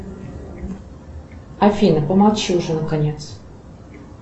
афина помолчи уже наконец